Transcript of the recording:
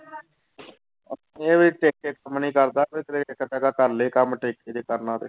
ਇਹ ਵੀ ਟਿੱਕ ਕੇ ਕੰਮ ਨੀ ਕਰਦਾ ਕਰ ਲਏ ਕੰਮ ਟਿੱਕ ਕੇ ਜੇ ਕਰਨਾ ਤੇ।